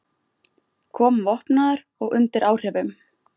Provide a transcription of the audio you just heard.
Kom vopnaður og undir áhrifum